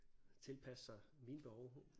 Tilpasse sig mine behov